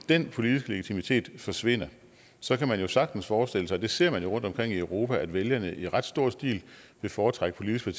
den politiske legitimitet i forsvinder så kan man jo sagtens forestille sig det ser man jo rundtomkring i europa at vælgerne i ret stor stil vil foretrække politiske